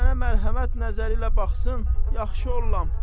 Mənə mərhəmət nəzəri ilə baxsa, yaxşı olaram.